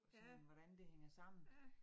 Ja. Ja